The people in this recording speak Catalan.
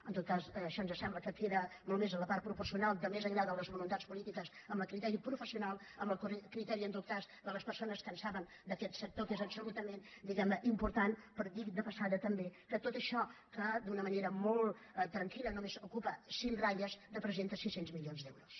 en tot cas això ens sembla que queda molt més en la part proporcional de més enllà de les voluntats polítiques amb el criteri professional amb el criteri en tot cas de les persones que en saben d’aquest sector que és absolutament diguem ne important però dit de passada també que tot això que d’una manera molt tranquil·la només ocupa cinc ratlles representa sis cents milions d’euros